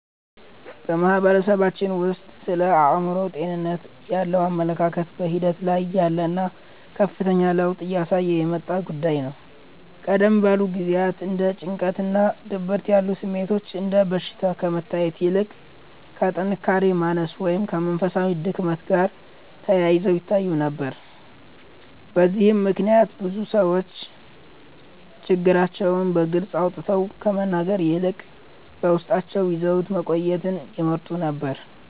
በማህበረሰባችን ውስጥ ስለ አእምሮ ጤንነት ያለው አመለካከት በሂደት ላይ ያለና ከፍተኛ ለውጥ እያሳየ የመጣ ጉዳይ ነው። ቀደም ባሉ ጊዜያት እንደ ጭንቀትና ድብርት ያሉ ስሜቶች እንደ በሽታ ከመታየት ይልቅ ከጥንካሬ ማነስ ወይም ከመንፈሳዊ ድክመት ጋር ተያይዘው ይታዩ ነበር። በዚህም ምክንያት ብዙ ሰዎች ችግራቸውን በግልጽ አውጥተው ከመናገር ይልቅ በውስጣቸው ይዘውት መቆየትን ይመርጡ ነበር።